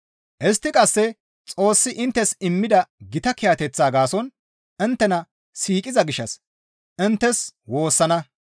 Istti qasse Xoossi inttes immida gita kiyateththaa gaason inttena siiqiza gishshas inttes woossana.